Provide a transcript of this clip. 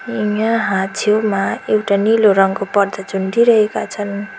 अनि यहाँ छेउमा एउटा नीलो रङको पर्दा झुन्डिरहेका छन्।